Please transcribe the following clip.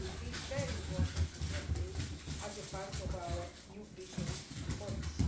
It will be very important to have this as part of our new fisheries policy.